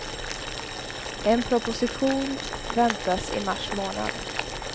En proposition väntas i mars månad.